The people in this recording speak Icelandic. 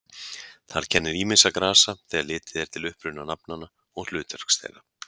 Þar kennir ýmissa grasa þegar litið er til uppruna nafnanna og hlutverks þeirra.